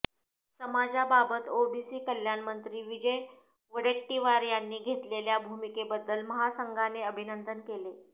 समाजाबाबत OBC कल्याण मंत्री विजय वडेट्टीवार यांनी घेतलेल्या भूमिकेबद्दल महासंघाने अभिनंदन केले